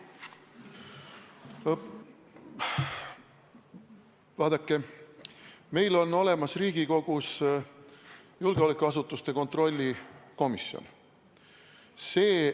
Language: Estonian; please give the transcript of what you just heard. Vaadake, meil on Riigikogus olemas julgeolekuasutuste kontrolli komisjon.